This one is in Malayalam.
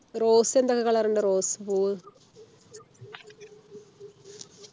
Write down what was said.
Rose എന്തൊക്കെ color ഉണ്ട് Rose പൂവ്